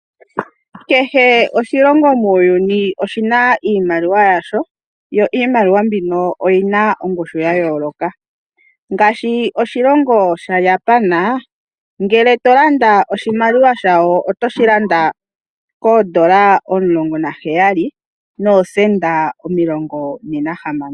Kehe oshilongo muuyuni oshina iimaliwa yasho , yo iimaliwa mbino oyina ongushu yayooloka , ngaashi oshilongo shaJapan , ngele tolanda oshimaliwa shayo, otoshi landa $17. 6407.